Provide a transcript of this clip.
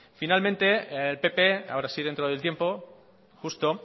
finalmente el pp ahora sí dentro del tiempo justo